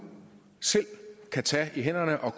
selv kan tage i hænderne og